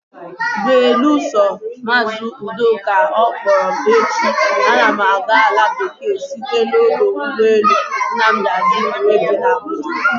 Belusọ, maazị Udoka ọ kpọrọ m echi, ana m aga ala bekee site n'ọdọ ụgbọelu Nnamdi Azikiwe dị n'Abuja.